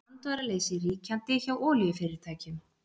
Andvaraleysi ríkjandi hjá olíufyrirtækjum